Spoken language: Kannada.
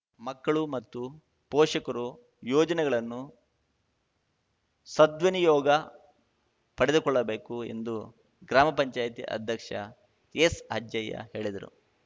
ಮಕ್ಕಳು ಮತ್ತು ಪೋಷಕರು ಯೋಜನೆಗಳನ್ನು ಸದ್ವಿನಿಯೋಗ ಪಡೆದುಕೊಳ್ಳಬೇಕು ಎಂದು ಗ್ರಾಮ ಪಂಚಾಯಿತಿ ಅಧ್ಯಕ್ಷ ಎಸ್‌ಅಜ್ಜಯ್ಯ ಹೇಳಿದರು